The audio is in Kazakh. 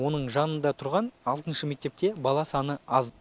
оның жанында тұрған алтыншы мектепте бала саны аз